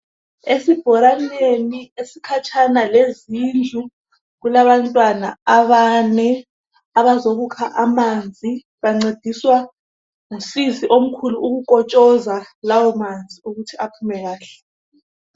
Esibhoraneni esikhatshana lezindlu, kulabantwana abane abazokukha amanzi, bancediswa ngusisi omkhulu ukukotshoza lawo manzi ukuthi aphume kahle.